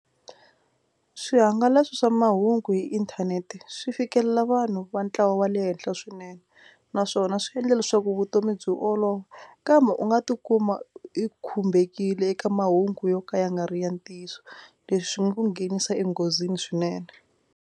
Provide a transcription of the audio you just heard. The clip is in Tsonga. Swihangalasi swa mahungu hi inthanete swi fikelela vanhu va ntlawa wa le henhla swinene naswona swi endle leswaku vutomi byi olova kambe u nga tikuma u i khumbekile eka mahungu yo ka ya nga ri ya ntiyiso. Leswi swi nga ku nghenisa enghozini swinene.